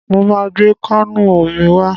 Mo máa gbé káànù omi wá.